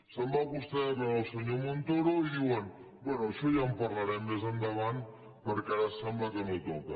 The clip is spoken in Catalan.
se’n va vostè a veure el senyor montoro i diuen bé d’això ja en parlarem més endavant perquè ara sembla que no toca